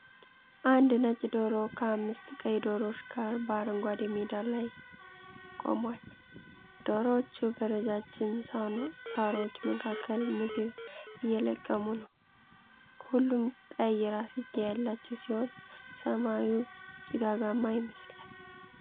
አንድ ነጭ ዶሮ ከአምስት ቀይ ዶሮዎች ጋር በአረንጓዴ ሜዳ ላይ ቆሟል። ዶሮዎቹ በረጃጅም ሣሮች መካከል ምግብ እየለቀሙ ነው። ሁሉም ቀይ ራስጌ ያላቸው ሲሆን፣ ሰማዩ ጭጋጋማ ይመስላል።